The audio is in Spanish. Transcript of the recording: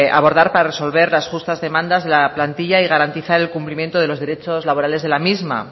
abordar para resolver las justas demandas de la plantilla y garantizar el cumplimiento de los derechos laborales de la misma